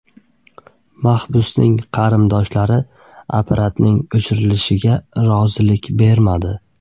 Mahbusning qarindoshlari apparatning o‘chirilishiga rozilik bermadi.